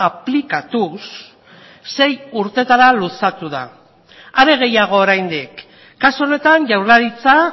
aplikatuz sei urteetara luzatu da are gehiago oraindik kasu honetan jaurlaritza